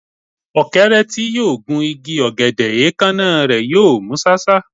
Ọ̀kẹ́rẹ́ tí yóò gun igi ọ̀gẹ̀dẹ̀, èékánná rẹ̀ yóò mú ṣáṣá.